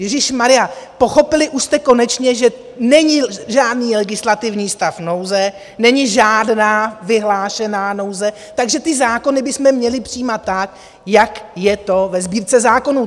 Ježíšmarjá, pochopili už jste konečně, že není žádný legislativní stav nouze, není žádná vyhlášená nouze, takže ty zákony bychom měli přijímat tak, jak je to ve Sbírce zákonů?